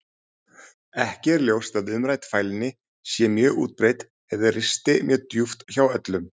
Ekki er ljóst að umrædd fælni sé mjög útbreidd eða risti mjög djúpt hjá öllum.